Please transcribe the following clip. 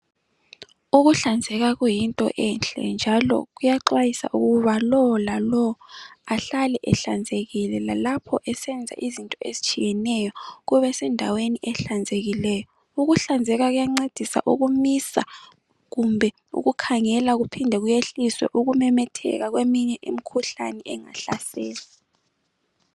Ukuhlanzeka kuyinto enhle njalo kuyaxwayiswa ukuba lowo lalowo ahlale ehlanzekileyo lalapho ezenza izinto ezitshiyeneyo kube sendaweni ehlanzekileyo ukuhlanzeka kuyancedisa ukumisa kumbe ukukhangela kuphinde kuyehlise ukumemetheka kweminye imkhuhlane engahlasela.